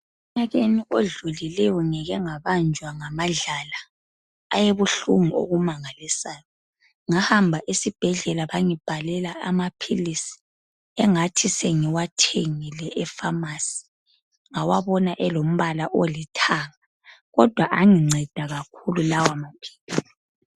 Eminyakeni odlulileyo ngike ngabanjwa ngamadlala ngahamba esibhedlela bangibhalela amaphilisi engathi sengiwathengile efamasi ngawabona elombala olithanga. Kodwa anginceda kakhulu lawo maphilisi.